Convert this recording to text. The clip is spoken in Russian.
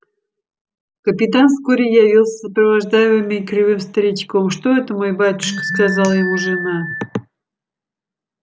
капитан вскоре явился сопровождаемый кривым старичком что это мой батюшка сказала ему жена